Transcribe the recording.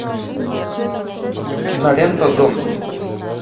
кинолента зомби